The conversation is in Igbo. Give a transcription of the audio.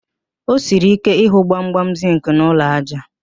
O siri ike ịhụ gbamgbam zịnkị n'ụlọ ájá